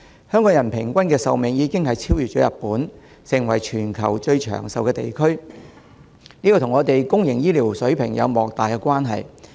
香港人平均壽命已經超越日本，成為全球最長壽的地區，這與香港公營醫療水平有莫大關係。